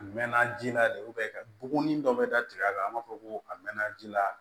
A mɛnna ji la de ka buguni dɔ bɛ da tigɛ a kan an b'a fɔ ko a mɛnna ji la